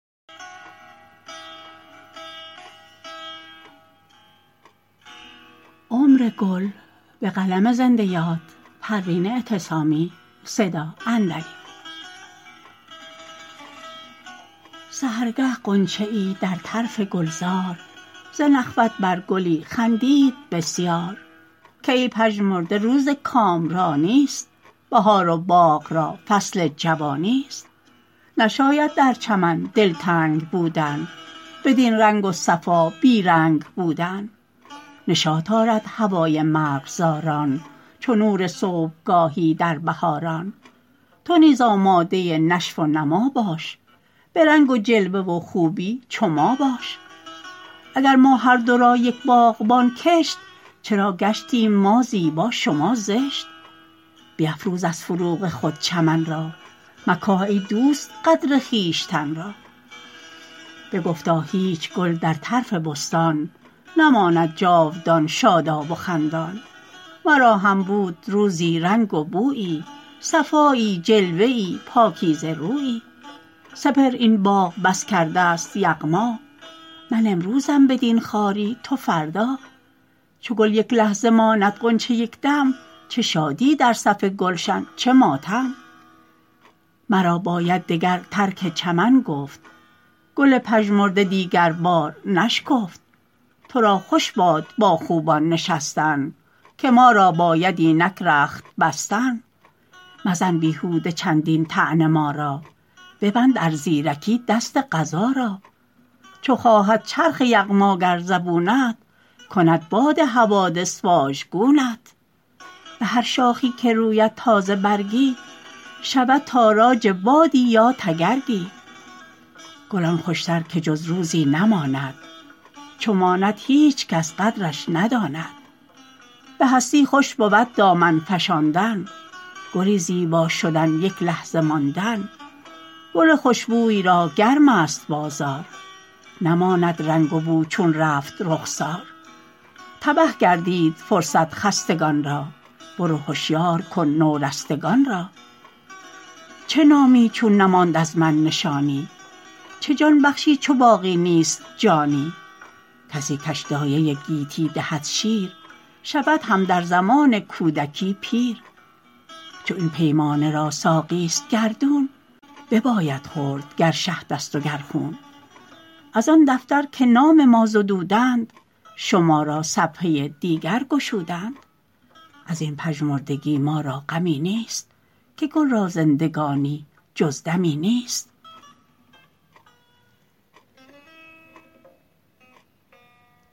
سحرگه غنچه ای در طرف گلزار ز نخوت بر گلی خندید بسیار که ای پژمرده روز کامرانی است بهار و باغ را فصل جوانی است نشاید در چمن دلتنگ بودن بدین رنگ و صفا بی رنگ بودن نشاط آرد هوای مرغزاران چو نور صبحگاهی در بهاران تو نیز آماده نشو و نما باش برنگ و جلوه و خوبی چو ما باش اگر ما هر دو را یک باغبان کشت چرا گشتیم ما زیبا شما زشت بیفروز از فروغ خود چمن را مکاه ای دوست قدر خویشتن را بگفتا هیچ گل در طرف بستان نماند جاودان شاداب و خندان مرا هم بود روزی رنگ و بویی صفایی جلوه ای پاکیزه رویی سپهر این باغ بس کردست یغما من امروزم بدین خواری تو فردا چو گل یک لحظه ماند غنچه یک دم چه شادی در صف گلشن چه ماتم مرا باید دگر ترک چمن گفت گل پژمرده دیگر بار نشکفت ترا خوش باد با خوبان نشستن که ما را باید اینک رخت بستن مزن بیهود چندین طعنه ما را ببند ار زیرکی دست قضا را چو خواهد چرخ یغماگر زبونت کند باد حوادث واژگونت بهر شاخی که روید تازه برگی شود تاراج بادی یا تگرگی گل آن خوشتر که جز روزی نماند چو ماند هیچکش قدرش نداند به هستی خوش بود دامن فشاندن گلی زیبا شدن یک لحظه ماندن گل خوشبوی را گرم است بازار نماند رنگ و بو چون رفت رخسار تبه گردید فرصت خستگان را برو هشیار کن نو رستگان را چه نامی چون نماند از من نشانی چه جان بخشی چو باقی نیست جانی کسی کش دایه گیتی دهد شیر شود هم در زمان کودکی پیر چو این پیمانه را ساقی است گردون بباید خورد گر شهد است و گر خون از آن دفتر که نام ما زدودند شما را صفحه دیگر گشودند ازین پژمردگی ما را غمی نیست که گل را زندگانی جز دمی نیست